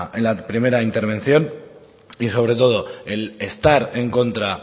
en la primera intervención y sobre todo el estar en contra